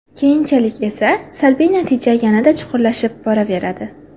Keyinchalik esa, salbiy natija yanada chuqurlashib boraveradi.